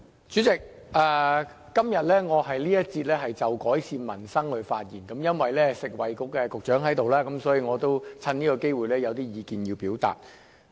主席，今天我在這節辯論就改善民生發言，因為食物及衞生局局長在座，所以我想趁此機會表達意見。